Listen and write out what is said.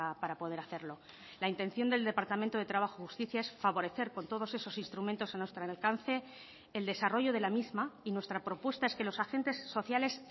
para poder hacerlo la intención del departamento de trabajo y justicia es favorecer con todos esos instrumentos a nuestro alcance el desarrollo de la misma y nuestra propuesta es que los agentes sociales